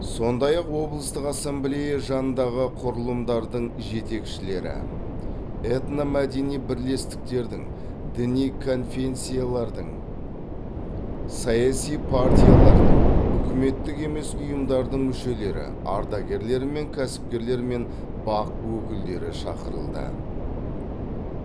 сондай ақ облыстық ассамблея жанындағы құрылымдардың жетекшілері этномәдени бірлестіктердің діни конфенсиялардың саяси партиялардың үкіметтік емес ұйымдардың мүшелері ардагерлер мен кәсіпкерлер мен бақ өкілдері шақырылды